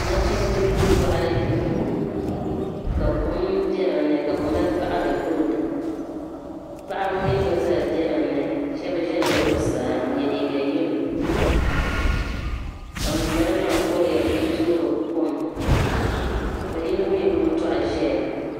Nachimba n gbi boɣali ka kom be dinni ka bɛ mali paɣari golidi paɣaba mee gba zaa be dinni Sheba ʒila zuɣusaa n ye liiga yelo la ŋunbala maa kuriya n toori kom ka yino mee gbibi doɣu ʒia.